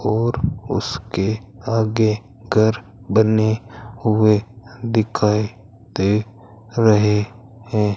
और उसके आगे घर बने हुए दिखाई दे रहे हैं।